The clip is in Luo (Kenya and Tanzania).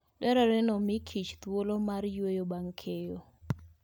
Dwarore ni omi kichthuolo mar yueyo bang' keyo.